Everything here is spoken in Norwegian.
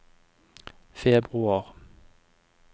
februar